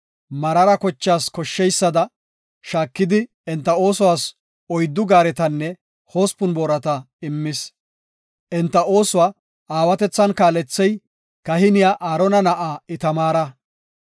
Meraara kochaas koshsheysada shaakidi, enta oosuwas uyddu gaaretanne hospun boorata immis. Enta oosuwa aawatethan kaalethey kahiniya Aarona na7aa Itamaara.